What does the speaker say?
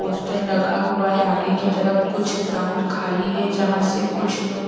poster लगा हुआ है आगे की तरफ कुछ ग्राउंड खाली है जहाँ से कुछ लोग--